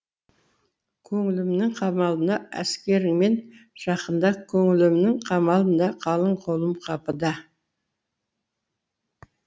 көңілімнің қамалына әскеріңмен жақында көңілімнің қамалында қалың қолым қапыда